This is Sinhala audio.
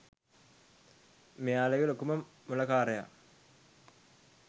මෙයාලාගෙ ලොකුම මොලකාරයා.